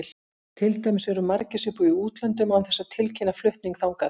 Til dæmis eru margir sem búa í útlöndum án þess að tilkynna flutning þangað.